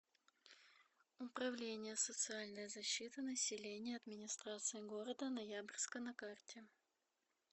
управление социальной защиты населения администрации города ноябрьска на карте